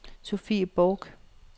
Sofie Borch